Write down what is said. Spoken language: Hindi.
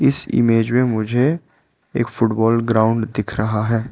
इस इमेज में मुझे एक फुटबॉल ग्राउंड दिख रहा है।